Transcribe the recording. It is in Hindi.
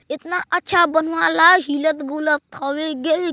इतना अच्छा बनवाला हिलत गुलत हवै गे।